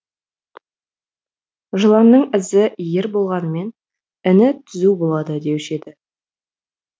жыланның ізі иір болғанмен іні түзу болады деуші еді